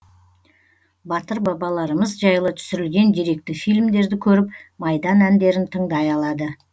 батыр бабаларымыз жайлы түсірілген деректі фильмдерді көріп майдан әндерін тыңдай алады